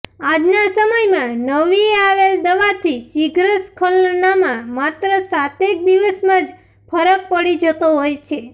આજના સમયમાં નવી આવેલ દવાથી શિઘ્રસ્ખલનમાં માત્ર સાતેક દિવસમાં જ ફરક પડી જતો હોય છે